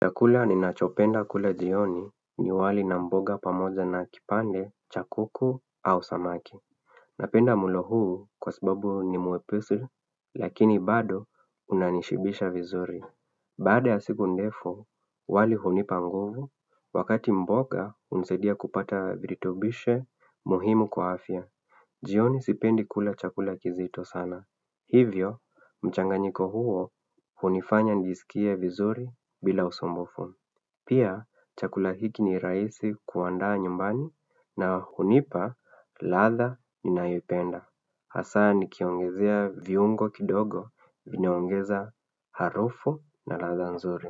Chakula ninachopenda kula jioni ni wali na mboga pamoja na kipande, cha kuku au samaki. Napenda mlo huu kwa sababu ni mwepesi, lakini bado unanishibisha vizuri. Baada ya siku ndefu, wali hunipa nguvu, wakati mboga hunisaidia kupata virutubishe muhimu kwa afya. Jioni sipendi kula chakula kizito sana. Hivyo, mchanganyiko huo hunifanya nijisikie vizuri bila usumbufu. Pia, chakula hiki ni rahisi kuandaa nyumbani na hunipa ladha. Ninaipenda. Hasa nikiongezea viungo kidogo vinaongeza harufu na ladha nzuri.